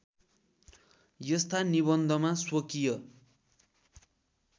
यस्ता निबन्धमा स्वकीय